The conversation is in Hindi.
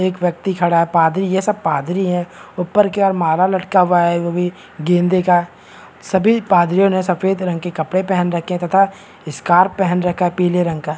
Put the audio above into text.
एक व्यक्ति खड़ा है पादरी है ये सब पादरी हैं ऊपर की ओर माला लटका हुआ है वो भी गेंदे का सभी पादरियों ने सफेद रंग के कपड़े पहन रखे हैं तथा स्कार्फ पहन रखा है पीले रंग का।